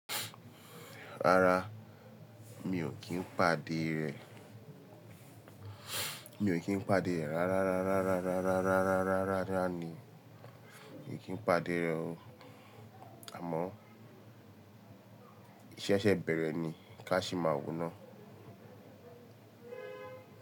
Rárá, mi ò kí ń pàdé rẹ. Mi ò kí ń pàdé rẹ, rárá rárá rárá rárá rárá rárá rárá rárá ni mi ò kí ń pàdé rẹ o. Àmọ́ isé sè bèrè ni ká se máa wò na.